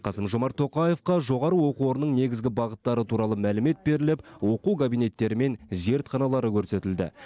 қасым жомарт тоқаевқа жоғары оқу орнының негізгі бағыттары туралы мәлімет беріліп оқу кабинеттері мен зертханалары көрсетілді